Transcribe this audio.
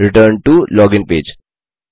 return to login page